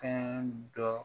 Fɛn dɔ